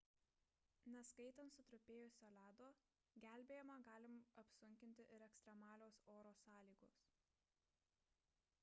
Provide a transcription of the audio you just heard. neskaitant sutrupėjusio ledo gelbėjimą gali apsunkinti ir ekstremalios oro sąlygos